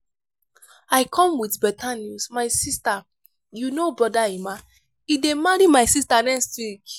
i come with beta news my sister you know brother emma? he dey marry my sister next week